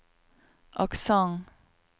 aksent